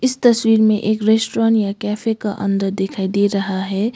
इस तस्वीर में एक रेस्टोरेंट या कैफे का अंदर दिखाई दे रहा है।